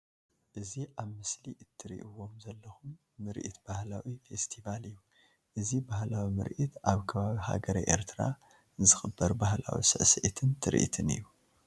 እዚ ኣብ ምስሊ እትርእይዎም ዘለኩም ምርኢት ባህላዊ ፌስትባል እዩ። እዚ ባህላዊ ምርኢት ኣብ ከባቢ ሃገረ ኤርትራ ዝክበር ባህላዊ ስዕስዒትን ትርኢትን እዩ።